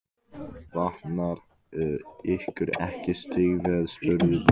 Vantar ykkur ekki stígvél? spurði Böddi.